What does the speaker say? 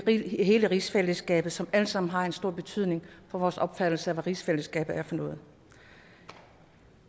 i hele rigsfællesskabet som alt sammen har en stor betydning for vores opfattelse af hvad rigsfællesskabet er for noget